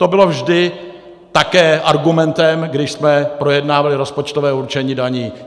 To bylo vždy také argumentem, když jsme projednávali rozpočtové určení daní.